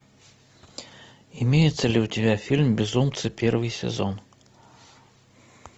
имеется ли у тебя фильм безумцы первый сезон